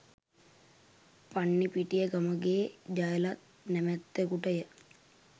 පන්නිපිටිය ගමගේ ජයලත් නමැත්තකුට ය.